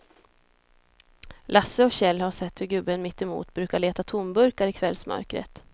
Lasse och Kjell har sett hur gubben mittemot brukar leta tomburkar i kvällsmörkret.